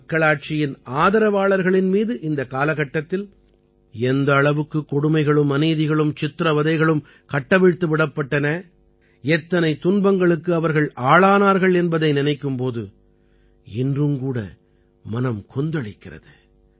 மக்களாட்சியின் ஆதரவாளர்களின் மீது இந்தக் காலகட்டத்தில் எந்த அளவுக்குக் கொடுமைகளும் அநீதிகளும் சித்திரவதைகளும் கட்டவிழ்த்து விடப்பட்டன எத்தனை துன்பங்களுக்கு அவர்கள் ஆளானார்கள் என்பதை நினைக்கும் போது இன்றும் கூட மனம் கொந்தளிக்கிறது